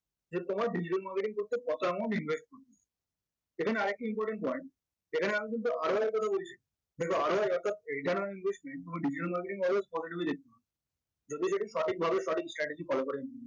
যে তোমার digital marketing করতে সেখানে আরেকটি important point সেখানে আমি কিন্তু কথা বলছি এই কারনে investment digital marketing always যদি সেটি সঠিকভাবে সঠিক strategy follow করে